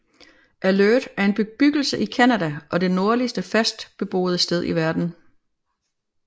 Alert er en bebyggelse i Canada og det nordligste fast beboede sted i verden